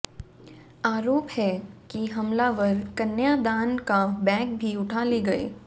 आरोप है कि हमलावर कन्यादान का बैग भी उठा ले गए